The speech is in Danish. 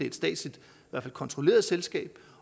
et statsligt kontrolleret selskab